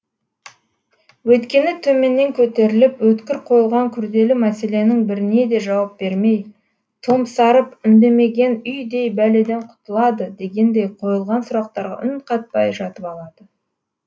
өйткені төменнен көтеріліп өткір қойылған күрделі мәселенің біріне де жауап бермей томсарып үндемеген үйдей бәледен құтылады дегендей қойылған сұрақтарға үн қатпай жатып алады